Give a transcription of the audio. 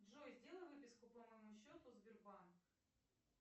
джой сделай выписку по моему счету сбербанк